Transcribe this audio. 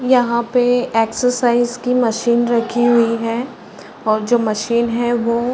यहाँ पे एक्सरसाइज की मशीन रखी हुई है और जो मशीन है वो --